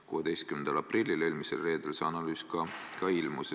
16. aprillil, eelmisel reedel see analüüs ka ilmus.